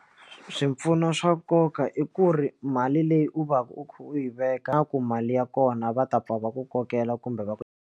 Swipfuno swa nkoka i ku ri mali leyi u va u yi veka ku mali ya kona va ta pfa va ku kokela kumbe va ku.